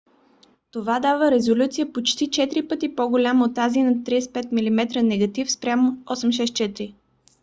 това дава резолюция почти четири пъти по-голяма от тази на 35 mm негатив 3136 mm2 спрямо 864